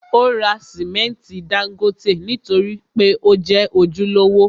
Ó ra simẹnti dángótè nítorí pé ó jẹ́ ojúlówó.